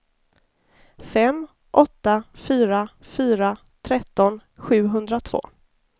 fem åtta fyra fyra tretton sjuhundratvå